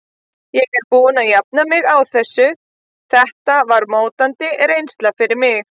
Ég er búinn að jafna mig á þessu, þetta var mótandi reynsla fyrir mig.